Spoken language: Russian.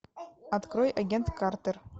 открой агент картер